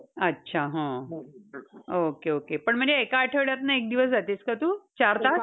अच्छा. हा. okay. पण म्हणजे एका आठवड्यातनं एक दिवस जातेस का तु चार तास?